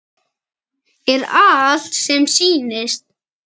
Er allt sem sýnist?